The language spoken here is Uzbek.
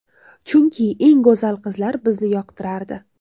Chunki, eng go‘zal qizlar bizni yoqtirardi.